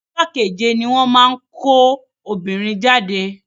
Ọjọ́ kéje ní wọ́n máa ń kọ́ ọmọbìnrin jáde.